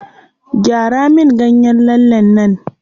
Gyara min ganyen lallen nan.